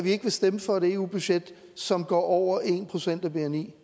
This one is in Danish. ikke vil stemme for et eu budget som går over en procent af bni